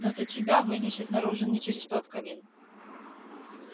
не то тебя вынесет наружу не через тот камин